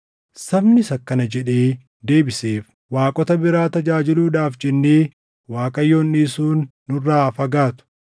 Sabnis akkana jedhee deebiseef; “Waaqota biraa tajaajiluudhaaf jennee Waaqayyoon dhiisuun nurraa haa fagaatu!